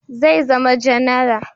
Zai zama janara